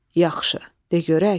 Yaxşı, de görək.